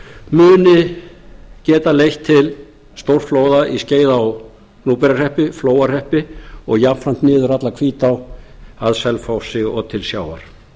muni geta leitt til stórflóða í skeiða og gnúpverjahreppi flóahreppi og jafnframt niður alla hvítá að selfossi og til sjávar